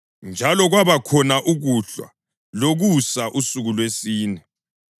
Njalo kwabakhona ukuhlwa lokusa, usuku lwesine.